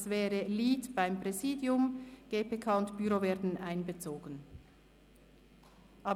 Dort wäre der Lead beim Präsidium, während die GPK und das Büro einbezogen würden.